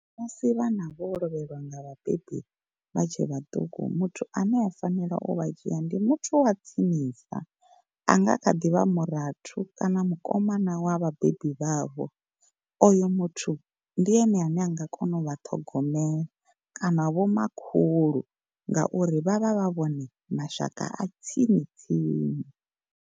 Musi vhana vho lovhelwa nga vhabebi vha tshe vhaṱuku muthu ane a fanela u vha dzhia ndi muthu wa tsinisa. A nga kha ḓi vha murathu kana mukomana wa vhabebi vha vho. Oyo muthu ndi ene ane a nga kona u vha ṱhogomela kana vho makhulu ngauri vhavha vha vhone mashaka a tsini tsini.